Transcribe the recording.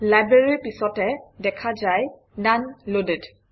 Library ৰ পিছতে দেখা যায় - ননে Loaded